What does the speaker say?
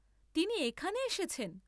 তিনি এখানে এসেছেন?